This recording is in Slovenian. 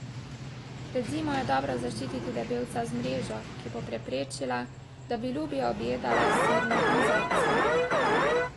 Pred zimo je dobro zaščititi debelca z mrežo, ki bo preprečila, da bi lubje objedale srne in zajci.